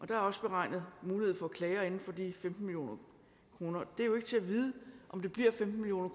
der er også beregnet mulighed for klager inden for de femten million kroner det er jo ikke til at vide om det bliver femten million